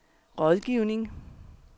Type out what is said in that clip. rådgivning